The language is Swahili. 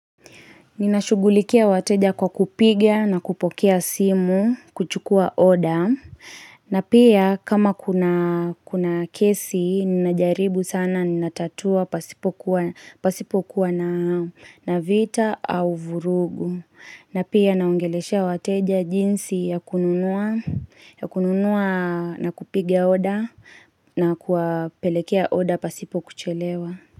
Ninashugulikia wateja kwa kupiga na kupokea simu, kuchukua oda, na pia kama kuna kesi, ninajaribu sana. Ninatatua pasipokuwa na vita au vurugu. Na pia naOngeleshea wateja jinsi ya kununua na kupiga oda na kuwapelekea oda pasipo kuchelewa.